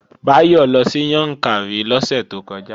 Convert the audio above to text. Báyọ̀ lọ sí Yàǹkàrí lọ́sẹ̀ tó kọjá